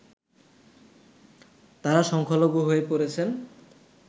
তারা সংখ্যালঘু হয়ে পড়েছেন